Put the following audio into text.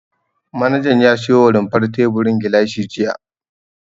Manajan ya siyo wa rumfar teburin gilashi jiya.